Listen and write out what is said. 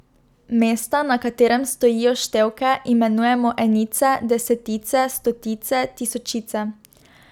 Mesta, na katerem stojijo števke, imenujemo enice, desetice, stotice, tisočice ...